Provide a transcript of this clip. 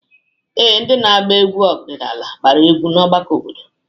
Ee, ndị na-agba egwu ọdịnala agbara egwu na ọgbakọ obodo.